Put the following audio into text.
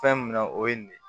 Fɛn min na o ye nin de ye